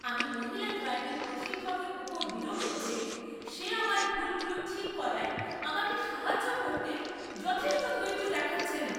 আমি মহিলা ড্রাইভিং প্রশিক্ষকের উপর বিরক্ত যে সে আমার ভুলগুলো ঠিক করায় আমাকে সাহায্য করতে যথেষ্ট ধৈর্য দেখাচ্ছে না।